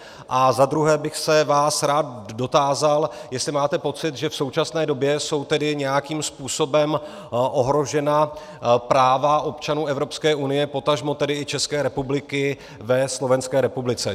A zadruhé bych se vás rád dotázal, jestli máte pocit, že v současné době jsou tedy nějakým způsobem ohrožena práva občanů Evropské unie, potažmo tedy i České republiky, ve Slovenské republice.